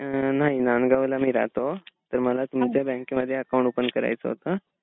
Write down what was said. नाही. नांदगावला मी राहतो. तर मला तुमच्या बँकेमध्ये अकाउंट ओपन करायचं होत.